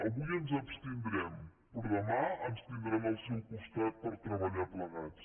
avui ens abstindrem però demà ens tindran al seu costat per treballar plegats